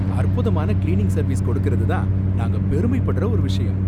அற்புதமான cleaning service கொடுக்கறதுதான் நாங்க பெருமைப்படற ஒரு விஷயம்